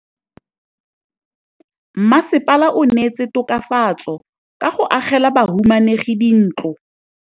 Mmasepala o neetse tokafatsô ka go agela bahumanegi dintlo.